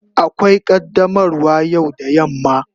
Akwai qaddamarwa yau da yamma.